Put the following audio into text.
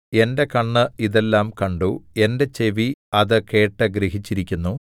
എന്റെ കണ്ണ് ഇതെല്ലാം കണ്ടു എന്റെ ചെവി അത് കേട്ട് ഗ്രഹിച്ചിരിക്കുന്നു